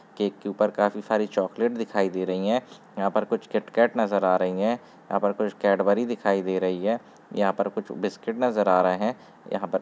cake के ऊपर काफी सरे चॉक्लेट दिखाई दे रही हैं यहाँ पर कुछ किटकैट नजर आ रही हैं यहाँ पर कुछ कैडबरी दिखाई दे रही है यहाँ पर कुछ बिस्कुट नजर आ रहे है यहाँ पर--